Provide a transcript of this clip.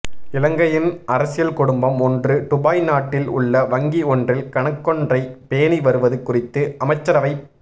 இலங்கையின் அரசியல் குடும்பம் ஒன்று டுபாய் நாட்டில் உள்ள வங்கி ஒன்றில் கணக்கொன்றை பேணி வருவது குறித்து அமைச்சரவைப்